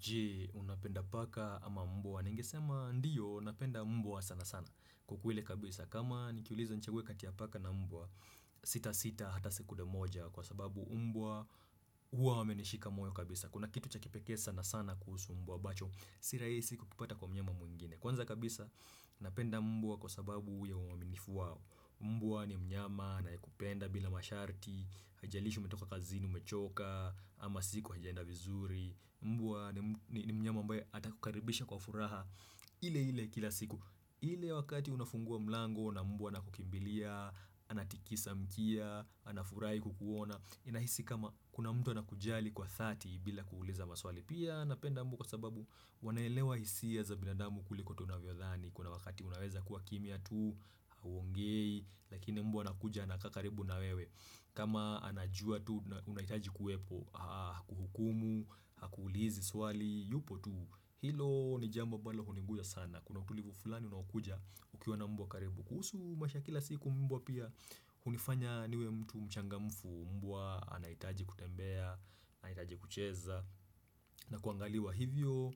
Je, unapenda paka ama mbwa. Ningesema ndiyo napenda mbwa sana sana kwa kweli kabisa. Kama nikiulizwa nichague kati ya paka na mbwa, sita sita hata sekunde moja kwa sababu mbwa huwa wamenishika moyo kabisa. Kuna kitu cha kipekee sana sana kuhusu mbwa ambacho. Sirahisi kukipata kwa mnyama mwingine. Kwanza kabisa, napenda mbwa kwa sababu ya uaminifu wao. Mbwa ni mnyama anayekupenda bila masharti, haijalishi umetoka kazi, umechoka, ama siku haijaenda vizuri. Mbwa ni mnyama ambe atakukaribisha kwa furaha. Ile ile kila siku. Ile wakati unafungua mlango na mbwa na kukimbilia, anatikisa mkia, anafurai kukuona. Inahisi kama kuna mtu anakujali kwa 30 bila kuuliza maswali. Pia napenda mbwa kwa sababu wanaelewa hisia za binadamu kuliko tunavyodhani Kuna wakati unaweza kuwa kimya tu, huongei, lakini mbwa anakuja anakaa karibu na wewe kama anajua tu, unahitaji kuwepo, hakuhukumu, hakuulizi swali, yupo tu Hilo ni jambo ambalo hunigusa sana, kuna utulivu fulani unaokuja ukiwa na mbwa karibu kuhusu masiha ya kila siku mbwa pia, hunifanya niwe mtu mchangamfu, mbwa anahitaji kutembea, anahitaji kucheza na kuangaliwa hivyo,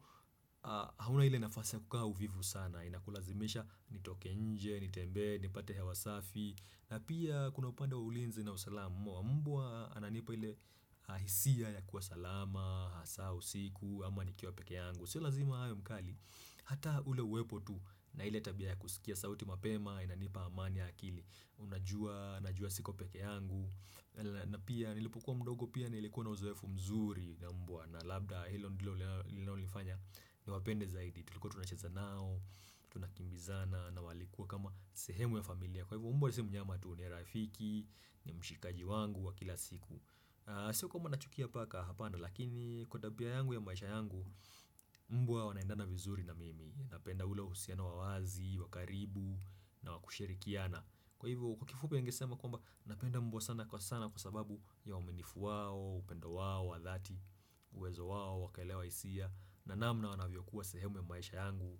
hauna ile nafasi kukaa uvivu sana Inakulazimisha nitoke nje, nitembee, nipate hewa safi na pia kuna upande ulinzi na usalamu Mbwa ananipa ile hisia ya kuwa salama, hasa usiku, ama nikiwa pekee yangu Sio lazima hawe mkali, hata ule uwepo tu na ile tabiaya kusikia sauti mapema Inanipa amani akili, huwa najua siku pekee yangu na pia nilipokua mdogo pia nilikuwa na uzoefu mzuri na labda hilo ndilo lililo linafanya niwapende zaidi tulikuwa tunacheza nao tunakimbizana na walikua kama sehemu ya familia kwa hivo mbwa si mnyama tu ni rafiki ni mshikaji wangu wa kila siku sio kwamba nachukia paka hapana lakini kwa tabia yangu ya maisha yangu mbwa wanaendana vizuri na mimi napenda ule usiana wazi wakaribu na wakushirikiana kwa hivo kwa kifupi ningesema napenda mbwa sana kwa sana kwa sababu ya uaminifu wao upendo wao wadhati uwezo wao wakuelewa hisia na namna wanavyo kuwa sehemu ya maisha yangu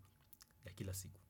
ya kila siku.